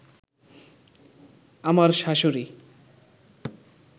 আমার শাশুড়ি